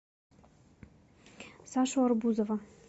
сашу арбузова